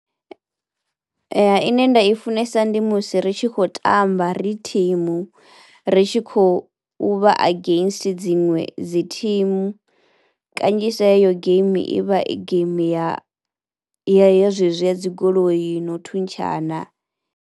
Ine nda i funesa ndi musi ri tshi khou tamba ri thimu, ri tshi kho u vha against dziṅwe dzi thimu kanzhisa heyo geimi i vha i geimi ya ya ya zwezwi ya dzi goloi no u thuntshana.